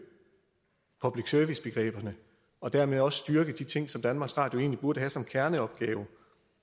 public service begreberne og dermed også styrke de ting som danmarks radio egentlig burde have som kerneopgave